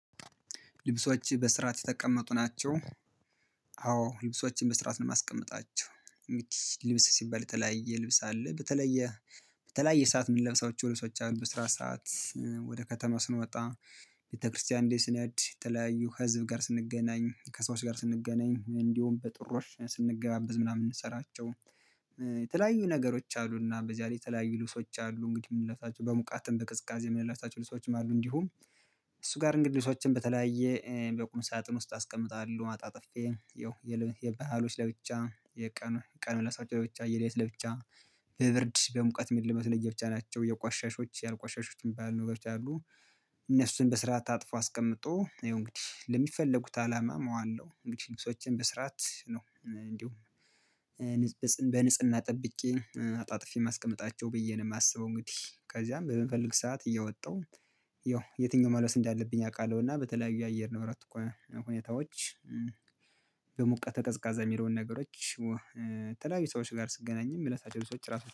ልብሶች በስርዓት የተቀመጡ ናቸው። አዎ ልብሶችን በስርዓት ነው የማስቀምጣቸው። ልብስ ሲባል የተለያየ ልብስ አለ በተለየ። በተለያየ ሰዓት የምንለብሳቸው ልብሶች አሉ በስራ ሰዓት ወደ ከተማ ስንወጣ ቤተክርስቲያን እንዴ ስነድ የተለያዩ ከህዝብ ጋር ስንገናኝ ከሰዎች ጋር ስንገናኝ እንዲሁም በጥሪዎች ስንገባበዝ ምናምን ስንሰራቸው። የተለያዩ ነገሮች አሉና በዚያ ላይ የተለያዩ ልብሶች አሉ እንግዲህ የምንለብሳቸው በሙቀትም በቅዝቃዜ የምንለብሳቸው ልብሶችም አሉ። እንዲሁም እሱ ጋር እንግዲህ ልብሶችን በተለያየ በቁም ሳጥን ውስጥ አስቀምጣለሁ አጣ ጥፌ ይኸው። የባህሎች ለብቻ። የቀን ምለብሳቸው ለብቻ የሌት ለብቻ። በብርድ በሙቀት የሚ ለበስ ለየብቻ ናቸው የቋሻሾች ያልቋሻሾትም ባልኖረው ያሉ። እነሱን በስርዓት አጥፎ አስቀምጦ ይሄው እንግዲህ ለሚፈለጉት አላማ ማዋለሁ እንግዲህ ልብሶችን በስራት ነው። እንዲሁ በንጽህና ጠብቄ አጣጥፌ ማስቀምጣው ብዬ ነው የማስበው እንግዲህ ከዛም በምፈልግ ሰዓት እየወጣሁ። የትኛውን መልበስ እንዳለብኝ አውቃለሁ እና በተለያዩ የአየር ንብረት እኮ ሁኔታዎች። በሙቀት ቀዝቃዛ የሚለውን ነገሮች። የተለያዩ ሰዎች ጋር ስገናኝም ምለብሳቸው ልብሶች ራሱ